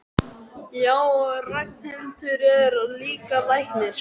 Já, og Ragnhildur er líka læknir.